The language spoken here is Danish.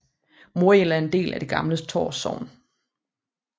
Morild er en del af det gamle Tårs Sogn